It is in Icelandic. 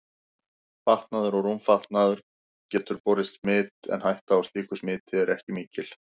Fatnaður og rúmfatnaður getur borið smit en hætta á slíku smiti er ekki mikil.